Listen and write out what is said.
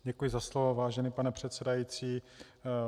Děkuji za slovo, vážený pane předsedající.